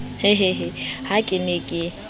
hehehe ha ke ne ke